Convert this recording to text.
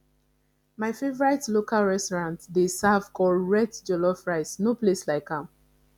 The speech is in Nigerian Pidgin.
my favorite local restaurant dey serve correct jollof rice no place like am